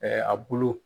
a bulu